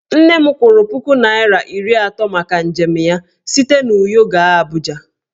Nne m kwụrụ puku naira iri atọ maka njem ya site n'Uyo gaa Abuja.